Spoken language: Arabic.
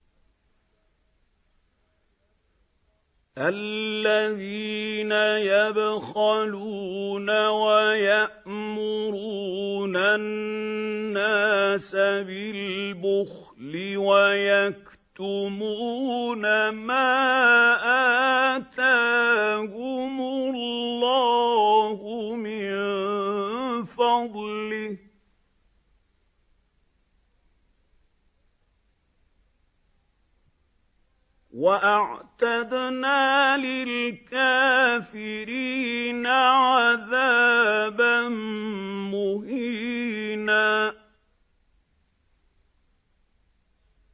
الَّذِينَ يَبْخَلُونَ وَيَأْمُرُونَ النَّاسَ بِالْبُخْلِ وَيَكْتُمُونَ مَا آتَاهُمُ اللَّهُ مِن فَضْلِهِ ۗ وَأَعْتَدْنَا لِلْكَافِرِينَ عَذَابًا مُّهِينًا